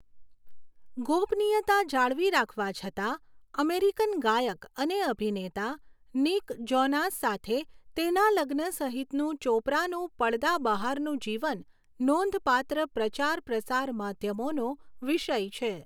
ગોપનીયતા જાળવી રાખવા છતાં, અમેરિકન ગાયક અને અભિનેતા નિક જોનાસ સાથે તેના લગ્ન સહિતનું ચોપરાનું પડદા બહારનું જીવન, નોંધપાત્ર પ્રચાર પ્રસાર માધ્યમોનો વિષય છે.